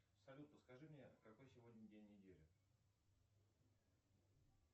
салют подскажи мне какой сегодня день недели